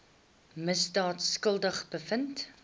misdaad skuldig bevind